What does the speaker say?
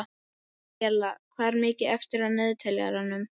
Maríella, hvað er mikið eftir af niðurteljaranum?